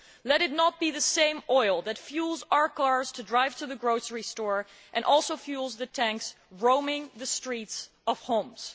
Let it not be the same oil that fuels our cars to drive to the grocery store fuelling the tanks roaming the streets of Homs.